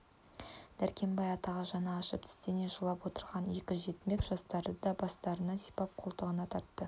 дәркембай атаға жаны ашып тістене жылап отырған екі жетімек жастарды да бастарынан сипап қолтығына тартты